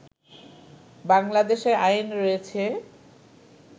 বাংলাদেশে আইন রয়েছে